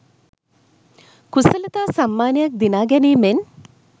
කුසලතා සම්මානයක් දිනා ගැනීමෙන්